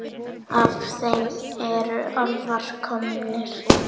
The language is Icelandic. Af þeim eru álfar komnir.